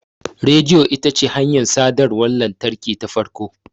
Rediyo ita ce hanyar sadarwar lantarki ta farko.